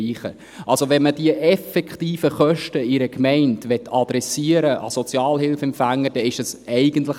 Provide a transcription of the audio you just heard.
Möchte man die effektiven Kosten an Sozialhilfeempfängern in einer Gemeinde adressieren;